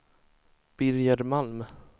Birger Malm